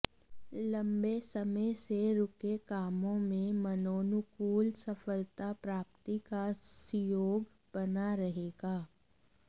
लम्बे समय से रूके कामों में मनोनुकूल सफलता प्राप्ति का सुयोग बना रहेगा